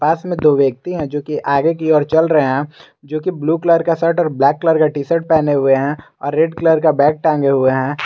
पास में दो व्यक्ति हैं जोकि आगे की ओर चल रहे हैं जोकि ब्लू कलर का शर्ट और ब्लैक कलर का टी शर्ट पहने हुए हैं और रेड कलर का बैग टांगे हुए हैं।